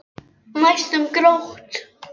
Næstum grátt.